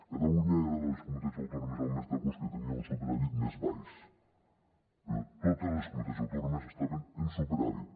catalunya era de les comunitats autònomes el mes d’agost que tenia un superàvit més baix però totes les comunitats autònomes estaven en superàvit